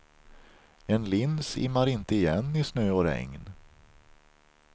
En lins immar inte igen i snö och regn.